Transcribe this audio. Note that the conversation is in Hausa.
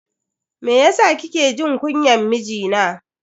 Meyasa kike jin kunyan mijina?